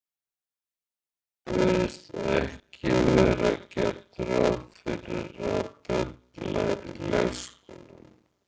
Það virðist ekki vera gert ráð fyrir að börn læri í leikskólum.